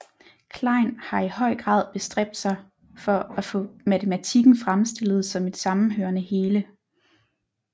Klein har i høj grad bestræbt sig for at få Matematikken fremstillet som et sammenhørende hele